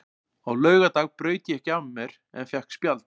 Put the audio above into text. Á laugardag braut ég ekki af mér en fékk spjald.